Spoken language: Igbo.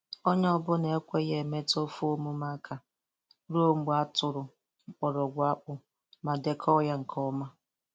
Onye ọ bụla ekweghị emetụ ofe emume aka ruo mgbe a tụrụ mgbọrọgwụ akpụ ma dekọọ ya nke ọma.